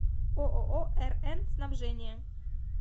ооо рн снабжение